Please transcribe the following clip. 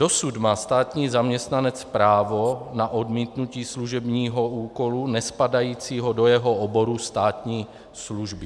Dosud má státní zaměstnanec právo na odmítnutí služebního úkolu nespadajícího do jeho oboru státní služby.